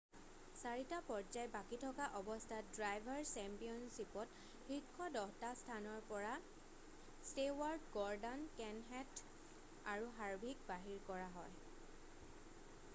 4টা পৰ্যায় বাকী থকা অৱস্থাত ড্ৰাইভাৰ চেম্পিয়নশ্বিপত শীৰ্ষ 10টা স্থানৰ পৰা ষ্টেৱাৰ্ট গৰ্ডান কেনশেঠ আৰু হাৰভিক বাহিৰ হয়